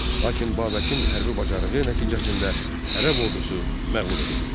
Lakin Babəkin hərbi bacarığı nəticəsində ərəb ordusu məğlub edildi.